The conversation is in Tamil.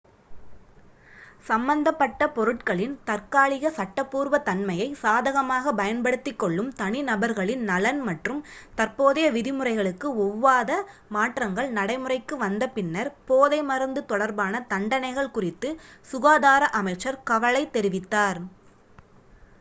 சம்பந்தப்பட்ட பொருட்களின் தற்காலிக சட்டபூர்வத்தன்மையை சாதகமாகப் பயன்படுத்திக் கொள்ளும் தனிநபர்களின் நலன் மற்றும் தற்போதைய விதிமுறைகளுக்கு ஒவ்வாத மாற்றங்கள் நடைமுறைக்கு வந்த பின்னர் போதைமருந்து தொடர்பான தண்டனைகள் குறித்து சுகாதார அமைச்சர் கவலை தெரிவித்தார்